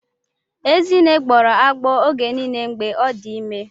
Ezinne gbọrọ agbọọ oge niile mgbe ọ dị ime.